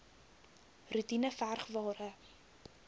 roetine verg ware